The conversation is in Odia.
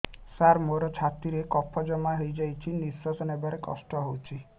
ସାର ମୋର ଛାତି ରେ କଫ ଜମା ହେଇଯାଇଛି ନିଶ୍ୱାସ ନେବାରେ କଷ୍ଟ ହଉଛି